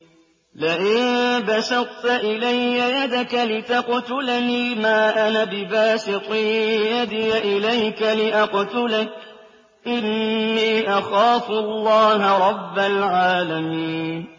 لَئِن بَسَطتَ إِلَيَّ يَدَكَ لِتَقْتُلَنِي مَا أَنَا بِبَاسِطٍ يَدِيَ إِلَيْكَ لِأَقْتُلَكَ ۖ إِنِّي أَخَافُ اللَّهَ رَبَّ الْعَالَمِينَ